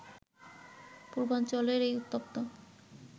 পূর্বাঞ্চলের এই উত্তপ্ত